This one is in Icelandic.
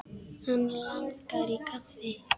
Hann langar í kaffi.